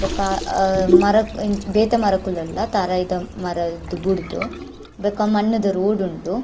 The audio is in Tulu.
ಬೊಕ್ಕ ಅಹ್ ಮರ ಬೇತೆ ಮರಕುಲ್ ಉಳ್ಳ ತಾರಾಯಿದ ಮರ ಬುಡ್ದು ಬೊಕ್ಕ ಮಣ್ಣುದ ರೋಡ್ ಉಂಡು.